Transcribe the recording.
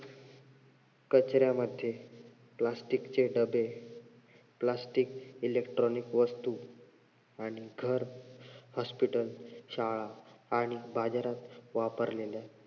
कचऱ्यामध्ये Plastic चे डब्बे, Plastic Electronic वस्तू आणि घर hospital शाळा आणि बाजारात वापरलेल्या